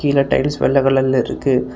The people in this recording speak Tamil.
இதுல டைல்ஸ் வெள்ள கலர்ல இருக்கு.